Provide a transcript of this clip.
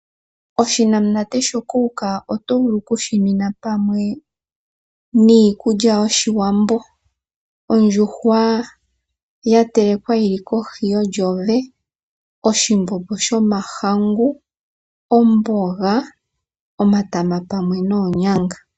Oshinanamunate shoCoka oto vulu oku shi nwina pamwe niikuly ayOshiwambo. Ondjuhwa ya telekwa yi li kohi yontsowe, oshimbombo shomahangu, omboga, omatama pamwe noonyanga.